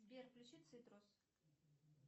сбер включи цитрус